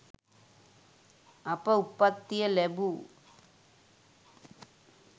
අප උප්පත්තිය ලැබූ